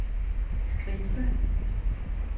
skive